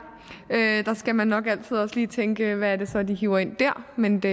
skal man nok altid lige tænke hvad er det så de hiver ind der men de